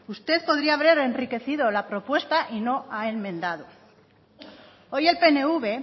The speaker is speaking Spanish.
usted podría haber enriquecido la propuesta y no ha enmendado hoy el pnv